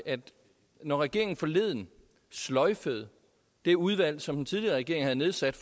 når regeringen forleden sløjfede det udvalg som den tidligere regering havde nedsat